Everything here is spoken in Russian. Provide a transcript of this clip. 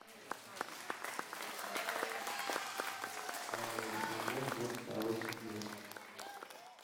ария альбом ночь короче дня